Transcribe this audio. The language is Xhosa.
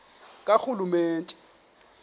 karhulumente